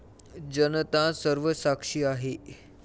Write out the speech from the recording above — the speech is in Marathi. जनता सर्वसाक्षी आहे.